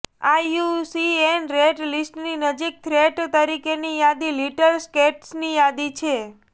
IUCN red લીસ્ટની નજીક threatened તરીકેની યાદીમાં લિટલ સ્કેટ્સની યાદી છે